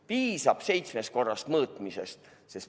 Piisab seitsmest korrast mõõtmisest.